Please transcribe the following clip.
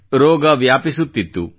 ರೋಗ ವ್ಯಾಪಿಸುತ್ತಿತ್ತು